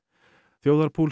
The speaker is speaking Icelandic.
þjóðarpúls